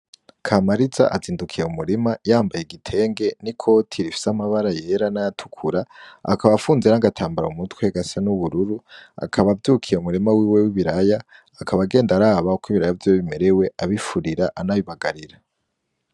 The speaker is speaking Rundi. Kamariza azindukiye m'umurima yambaye igitenge n'ikoti bifise amabara yera nay'atukura, akaba afunze agatambara m'umutwe gasa n'ubururu, akaba avyukiye m'umurima wiwe w'ibiraya, akaba agenda araba uko ibiraya vyiwe bimerewe abifurira anabibagarira.